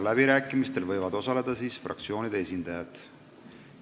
Läbirääkimistel võivad osaleda fraktsioonide esindajad.